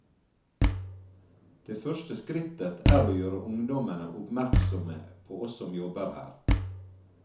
Det første skrittet er å gjøre ungdommene oppmerksomme på oss som jobber her.